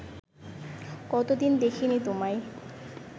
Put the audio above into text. কতদিন দেখিনি তোমায়